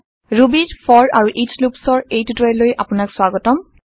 Rubyৰ for আৰু each Loopsৰ এই টিওটৰিয়েল লৈ আপোনাক স্ৱাগতম